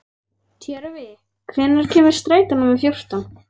Tjörvi, hvenær kemur strætó númer fjórtán?